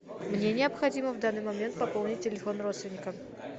мне необходимо в данный момент пополнить телефон родственника